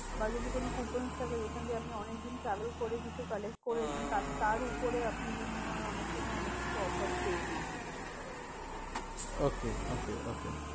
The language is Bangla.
বা যদি কোনো coupons থাকে যেখান দিয়ে আপনি অনেকদিন travel করে কিছু collect করেছেন। তার তার উপরে আপনি বিনিময় অনেক সময় অনেককিছু offer পেয়ে যান। okay okay okay